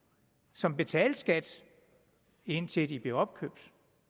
som betalte skat indtil de blev opkøbt